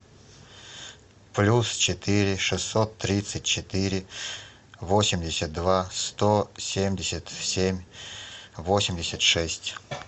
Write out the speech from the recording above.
плюс четыре шестьсот тридцать четыре восемьдесят два сто семьдесят семь восемьдесят шесть